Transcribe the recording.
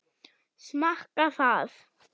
Smakka það.